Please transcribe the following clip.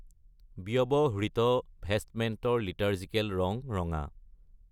ব্যৱহৃত ভেষ্টমেণ্টৰ লিটাৰ্জিকেল ৰং ৰঙা।